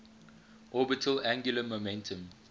orbital angular momentum